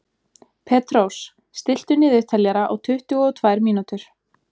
Petrós, stilltu niðurteljara á tuttugu og tvær mínútur.